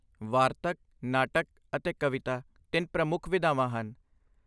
ਵਾਰਤਕ, ਨਾਟਕ ਅਤੇ ਕਵਿਤਾ ਤਿੰਨ ਪ੍ਰਮੁੱਖ ਵਿਧਾਵਾਂ ਹਨ।